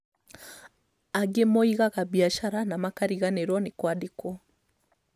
Angĩ moigaga biacara na makariganĩrwo nĩ kwandĩkwo